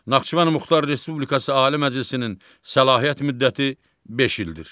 Naxçıvan Muxtar Respublikası Ali Məclisinin səlahiyyət müddəti beş ildir.